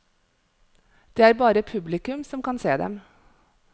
Det er bare publikum som kan se dem.